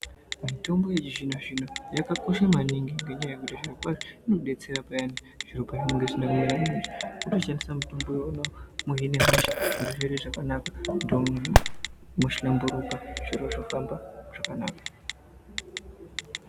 Mitombo yechizvino zvino yakakosha maningi ngenyaya yekuti zviro kwazvo inodetsera payani zviro pazvinenge zvisina kumira mushe kutoshandisa mutombo iwonawo kuhine hosha zviro zvoite zvakanaka ndombi mwohlamburuka zviro zvofamba zvakanaka.